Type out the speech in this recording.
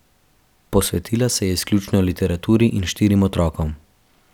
Posvetila se je izključno literaturi in štirim otrokom.